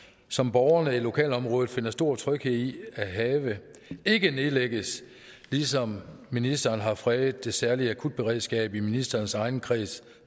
som borgerne i lokalområdet finder stor tryghed i at have ikke nedlægges ligesom ministeren har fredet det særlige akutberedskab i ministerens egen kreds